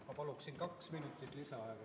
Ma palun kaks minutit lisaaega.